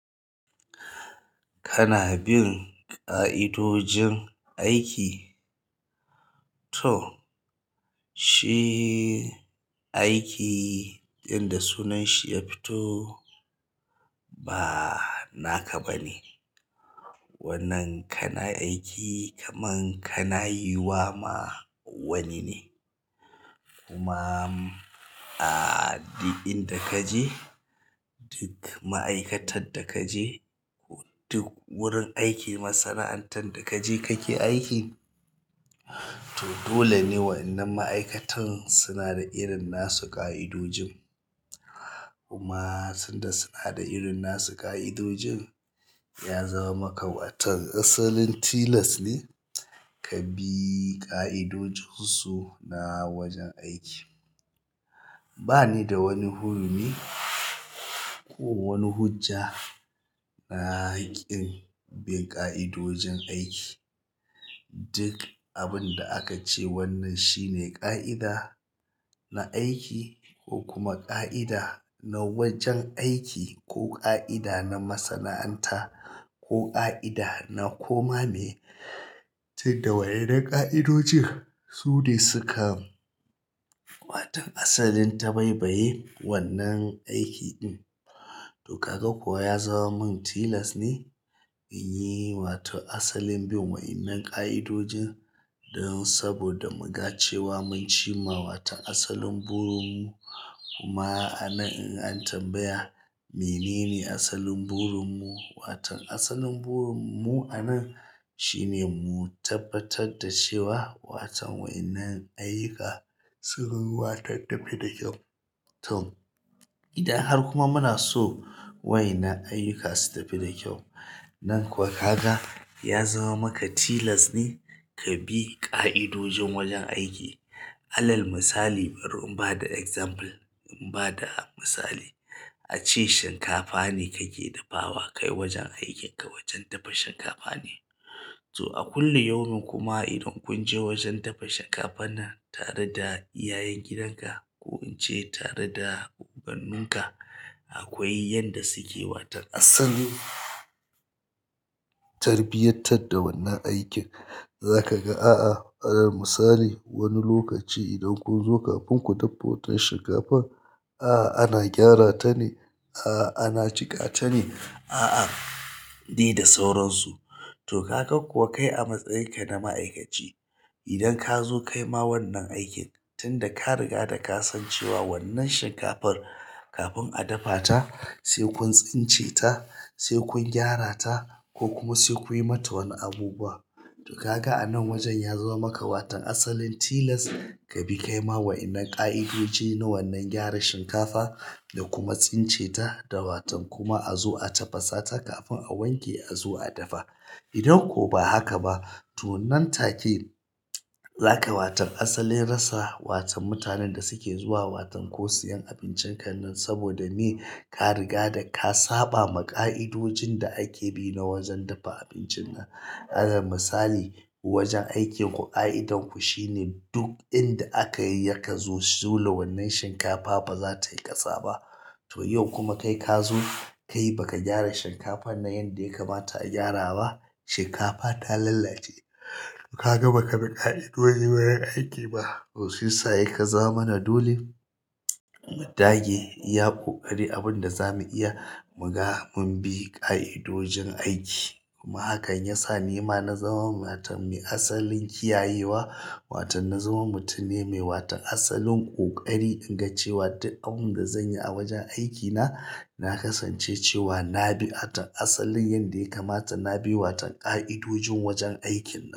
Kana bin ƙa'idojin aiki? To shi aiki inda sunan shi ya fito ba naka ba ne. Wannan kana aiki kaman kana yi wa ma wani ne. Kuma a duk inda ka je, duk ma'aikatar da ka je ko duk wurin aiki, masana'antar da ka je ka ke aiki, to dole ne wayannan ma'aikatan suna da irin nasu ƙa'idojin. Kuma tunda suna da irin nasu ƙa'idojin, ya zama maka watan asalin tilas ne ka bi ƙa'idojin su na wajen aiki. Ba ni da wani hurumi ko wani hujja na kin bin ƙa'idojin aiki. Duk abin da aka ce wannan shi ne ƙa'ida na aiki ko kuma ƙa'ida na wajen aiki ko ƙa'ida na masana'anta ko ƙa'ida na koma ne. Ta yadda waɗannan ƙa'idojin sune sukam, wato asalin tabaibaye wannan aiki ɗin. To kaga kuwa ya zama min tilas ne in yi watan asalin bin wa'innan ƙa'idojin. Don saboda muga cewa mun cimma watan asalin burin mu. Kuma a nan in an tambaya menene asalin burin mu? Watan asalin burin mu a nan shi ne mu tabbatar da cewa watan wa'innan ayyuka sun yi wata tafi da kyau. To idan har kuma muna so wa'innan ayyuka su tafi da kyau. Nan kuwa ka ga ya zama maka tilas ne ka bi ƙa'idojin wajen aiki. Alal misali, bari in ba da example, in ba da misali. Ace shinkafa nekake dafawa, kai wajen aikinka wajen dafa shinkafa ne. To a kullum yaumun kuma idan kun je wajen dafa shinkafa nan tare da iyayen gidanka ko in ce tare da ubanninka, akwai yadda suke watan asalin tarbiyar tar da wannan aikin. Za ka ga, a'a alal misali wani lokaci idan kun zo kafin ku dafa wata shinkafan, a'a ana gyara ta ne, a'a ana cika ta ne, a'a di da sauransu. To kaga kuwa kai a matsayin ka na ma'aikaci, idan ka zo kai ma wannan aikin tunda ka riga da ka san cewa wannan shinkafar kafin a dafa ta sai kun tsince ta, sai kun gyara ta ko kuma sai kuyi mata wani abubuwa. To ka ga a nan wajen ya zama maka watan asalin tilas ka bi kai ma wa'innan ƙa'idoji na wannan gyara shinkafa da kuma tsince ta da watan kuma a zo a tafasa ta kafin a wanke a zo a dafa. Idan ko ba haka ba, to nan take za ka watan asalin rasa watan mutanen da suke zuwa watan ko siyan abincin ka nan saboda me ka riga da ka saba ma ƙa'idojin da ake bi na wajen dafa abincin nan. Alal misali wajen aikinku ƙa'idar ku shi ne duk inda aka yi yaka zo dole wannan shinkafa ba za ta yi ƙasa ba. To yau kuma kai ka zo kai baka gyara shinkafar na yanda ya kamata a gyara ba. Shinkafa ta lallace. Ka ga baka bi ƙa'idoji na wurin aiki ba. To shiyassa yake zama mana dole. Mudage iya ƙoƙari abin da za mu iya mu ga mun bi ƙa'idojin aiki. Kuma hakan ya sa ni ma na zama watan mai asalin kiyayewa. Watan na zama mutum ne mai watan asalin ƙoƙari in ga cewa duk abun da zan yi a wajen aikina, na kasance cewa na bi a asalin yanda ya kamata na bi watan ƙa'idojin wajen aikinnan.